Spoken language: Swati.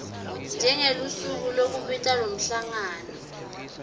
njengelusuku lekubita lomhlangano